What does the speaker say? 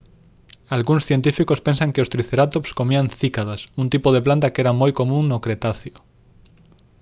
algúns científicos pensan que os tricerátops comían cícadas un tipo de planta que era moi común no cretáceo